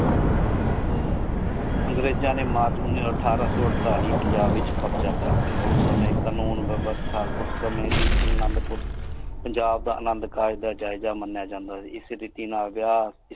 ਅੰਗਰੇਜਾਂ ਨੇ ਮਾਤਰ ਉਨੀ ਅਥਾਰ ਸੋ ਅਰ੍ਤਾਲਿ ਪੰਜਾਬ ਵਿਚ ਕ਼ਬ੍ਜ਼ਾ ਕਰ ਲਿਆ ਓਸ ਸਮਾਏ ਵੀ ਆਨੰਦਪੁਰ ਪੰਜਾਬ ਦਾ ਅਨੰਦੁ ਕਾਰਜ ਜਾਇਜ ਮਨਯਾ ਜਾਂਦਾ ਸੀ ਇਸੀ ਰੀਤੀ ਨਾਲ ਵਿਯਾਹ।